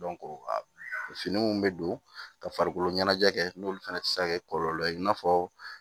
fini minnu bɛ don ka farikolo ɲɛnajɛ kɛ n'olu fana tɛ se ka kɛ kɔlɔlɔ ye i n'a fɔ